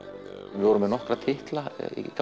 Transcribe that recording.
við vorum með nokkra titla